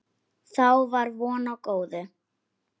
Þá var von á góðu.